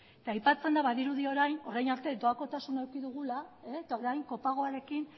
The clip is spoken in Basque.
eta aipatzen da badirudi orain arte doakotasuna eduki digula eta orain kopagoarekin